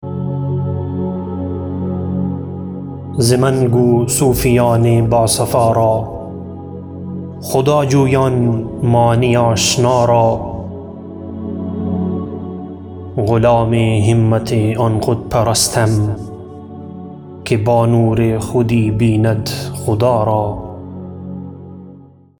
ز من گو صوفیان با صفا را خدا جویان معنی آشنا را غلام همت آن خود پرستم که با نور خودی بیند خدا را